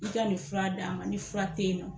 i ka ni fura d'a ma ni fura te yen nɔ.